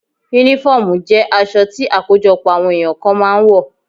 Únífọ́ọ̀mù jẹ́ aṣọ tí àkójọpọ̀ àwọn èyàn kan máa ń wọ̀